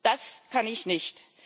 Das kann ich nicht.